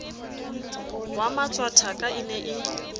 wa matshwakatha e ne e